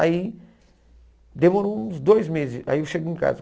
Aí demorou uns dois meses, aí eu cheguei em casa.